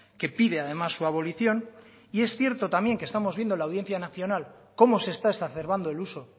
que pide además su abolición y es cierto también que estamos viendo la audiencia nacional cómo se está exacerbando el uso